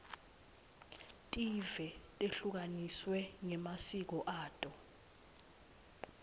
tive tehlukaniswe ngemasiko ato